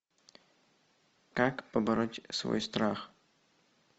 как побороть свой страх